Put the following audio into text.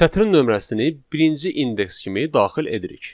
Sətrin nömrəsini birinci indeks kimi daxil edirik.